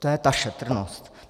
To je ta šetrnost.